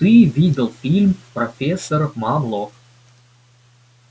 ты видел фильм профессор мамлок